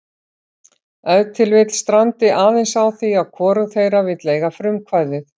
Ef til vill strandi aðeins á því að hvorug þeirra vill eiga frumkvæðið.